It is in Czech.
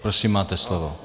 Prosím, máte slovo.